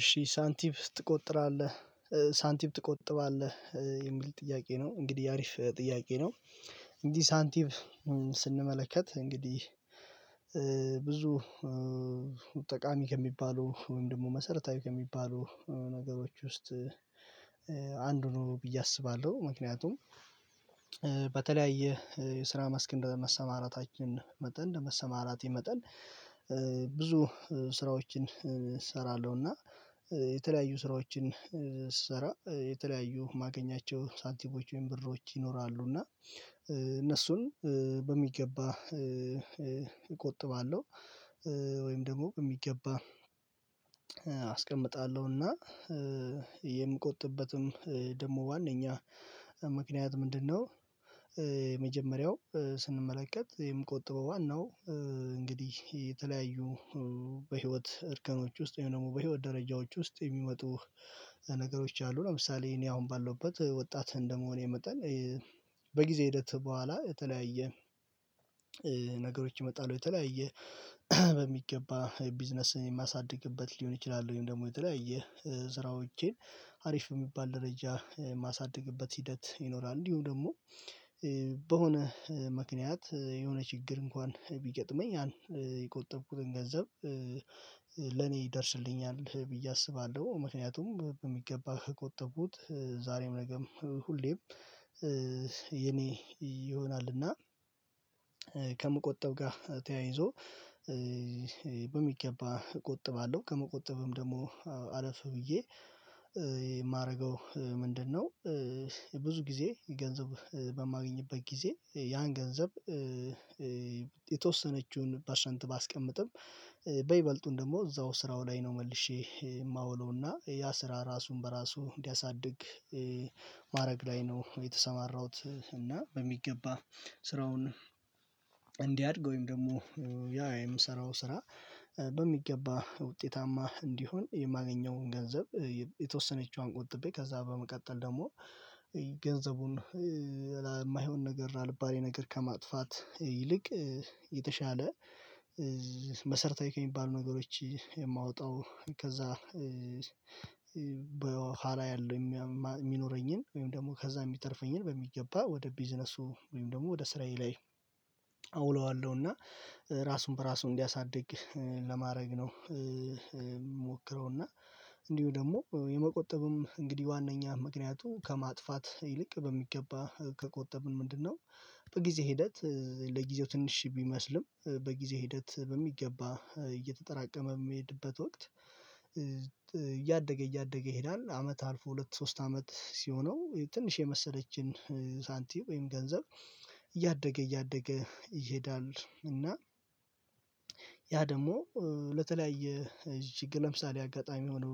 እሺ ሳንቲም ትቆጥራለህ? ሳንቲም ትቆጥባለህ የሚል ጥያቄ ነው እንግዲህ አሪፍ ጥያቄ ነው። እንግዲህ ሳንቲም ስንመለከት እንግዲህ ብዙ ጠቃሚ ከሚባሉ ወይም ደግሞ መሰረታዊ ከሚባሉ ነገሮች ውስጥ ነው ብዬ አስባለሁ። ምክንያቱም በተለያየ የስራ መስክ እንደ መሰማራታችን መጠን እንደ መሰማራቴ መጠን ብዙ ስራዎችን እሰራለሁና የተለያዩ ስራዎችን ስሰራ የተለያዩ ማገኛቸው ሳንቲሞች ወይም ብሮች ይኖራሉ እና እነሱን በሚገባ እቆጥባለሁ። ወይም ደግሞ በሚገባ አስቀምጣለሁና የምቆጥብበትም ደግሞ ዋዋነኛ ምክንያት ምንድነው? የመጀመሪያው ስንመለከት የምቆጥበው ዋናው እንግዲህ የተለያዩ በህይወት እርከኖች ውስጥ ወይም ደግሞ በህይወት ደረጃዎች ውስጥ የሚመጡ ነገሮች አሉ። ለምሳሌ እኔ አሁን ባለውበት ወጣት እንደመሆኔ መጣን በጊዜ ሂደት በኋላ የተለያየ ነገሮች ይመጣሉ የተለያየ በሚገባ ቢዝነስን የማሳድግበት ሊሆን ይችላል። ወይም ደግሞ የተለያየ ስራዎቼን አሪፍ የሚባል ደረጃ የማሳድግበት ሂደት ይኖራል። እንዲሁ ደግሞ በሆነ ምክንያት የሆነ ችግር እንኳን ቢገጥመኝ ያን የቆጠብኩትን ገንዘብ ለኔ ይደርስልኛል ብዬ አስባለሁ። ምክንያቱም በሚገባ ከቆጠብኩት ዛሬም ነገም ሁሌም ይሆናል። እና ከምቆጠብ ጋር ተያይዞ በሚገባ እቆጥባለሁ ከመቆጠብም አለፍ ብዬ የማደርገው ምንድነው? ብዙ ጊዜ ገንዘብ በማገኝበት ጊዜ ያን ገንዘብ የተወሰነችውን ፐርሰንት ባስቀምጥም በይበልጡን ደግሞ እዛው ስራው ላይ ነው መልሼ የማውለው እና ያ ስራ ራሱን በራሱ እንዲያሳድግ ማድረግ ላይ ነው። የተሰማራሁት እና በሚገባ ስራውን እንዲያድግ ወይም ደግሞ ያ የምሰራው ስራ በሚገባ ውጤታማ እንዲሆን የማገኘውን ገንዘብ የተወሰነችዋን ቆጥቤ ከዛ በመቀጠል ደግሞ ገንዘቡን የማይሆን ነገር አልባሌ ነገር ከማጥፋት ይልቅ የተሻለ መሰርታዊ ከሚባሉ ነገሮች የማወጣው ከዛ በኋላ ያለው የሚኖረኝን ወይም ደግሞ ከዛ የሚተርፈኝን በሚገባ ወደ ቢዝነሱ ወይም ደግሞ ወደ ሰሰራዬ ላይ አውለዋለሁ እና ራሱን በራሱ እንዲያሳድግ ለማድረግ ነው። የምሞክረውና እንዲሁ ደግሞ የመቆጠብም እንግዲህ ዋናኛ ምክንያቱ ከማጥፋት ይልቅ በሚገባ ከቆጠብን ምንድነው በጊዜ ሂደት ለጊዜው ትንሽ ቢመስልም በጊዜ ሂደት በሚገባ እየተጠራቀመ በሚሄድበት ወቅት እያደገ ይሄዳል። አመት አልፎ ሁለት ሶስት አመት ሲሆነው ትንሽ የመሰለችን ሳንቲም ወይም ገንዘብ እያደገ እያደገ ይሄዳል እና ያ ደግሞ ለተለያየ እጅግ ለምሳሌ አጋጣሚ ሆኖ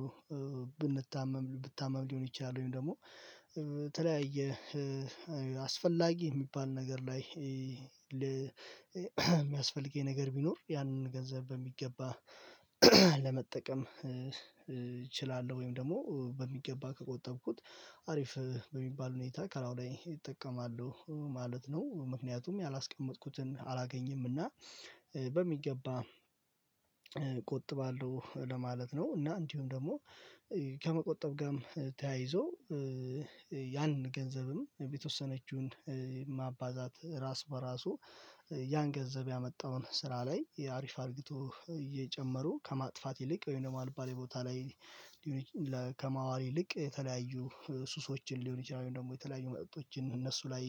ብንታመም ብታመም ሊሆን ይችላል። ወይም ደግሞ የተለያየ አስፈላጊ የሚባል ነገር ላይ የሚያስፈልገኝ ነገር ቢኖር ያንን ገንዘብ በሚገባ ለመጠቀም እችላለሁ ወይም ደግሞ በሚገባ ከቆጠብኩት አሪፍ በሚባል ሁኔታ ከላዩላይ እጠቀማሁ ማለት ነው። ምክንያቱም ያላስቀመጥኩትን አላገኝም እና በሚገባ ቆጥባለሁ ለማለት ነው። እና እንዲሁም ደግሞ ከመቆጠብ ጋርም ተያይዞ ያን ገንዘብም የተወሰነችውን ማባዛት ራስ በራሱ ያን ገንዘብ ያመጣውን ስራ ላይ የአሪፍ አርግቶ እየጨመሩ ከማጥፋት ይልቅ ወይም ደግሞ አልባሌ ቦታ ላይ ከማዋል ይልቅ የተለያዩ ሱሶችን ሊሆን ይችላል። ደግሞ የተለያዩ መጠጦችን እነሱ ላይ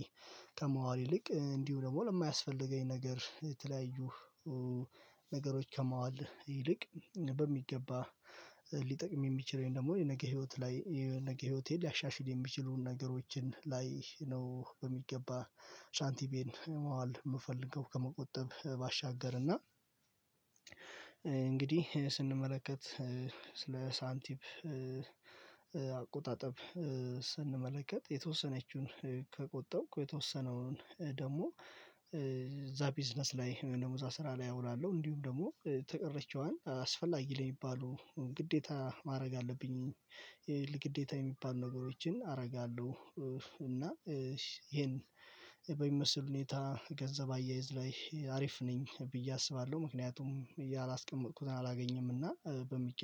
ከማዋል ይልቅ እንዲሁ ደግሞ ለማያስፈልገኝ ነገር የተለያዩ ነገሮች ከማዋል ይልቅ በሚገባ ሊጠቅም የሚችለውን ደግሞ የነገ ህይወት ላይ የነገ ህይወቴ ሊያሻሽል የሚችሉ ነገሮችን ላይ ነው። በሚገባ ሳንቲሜን መዋል የምፈልገው ከመቆጠብ ባሻገር እና እንግዲህ ስንመለከት ስለ ሳንቲም አቆጣጠብ ስንመለከት የተወሰነችውን ከቆጠብኩ የተወሰነውን ደግሞ እዛ ቢዝነስ ላይ ደሞዛ ስራ ላይ አውላለሁ እንዲሁም ደግሞ ተቀረችዋን አስፈላጊ ለሚባሉ ግዴታ ማድረግ አለብኝ ግዴታ የሚባሉ ነገሮችን አደርጋለሁ እና ይሄን በሚመስል ሁኔታ ገንዘብ አያይዝ ላይ አሪፍ ነኝ ብዬ አስባለሁ። ምክንያቱም እያላስቀመጥኩትን አላገኝም እና በሚገባ